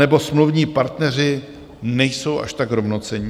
Anebo smluvní partneři nejsou až tak rovnocenní?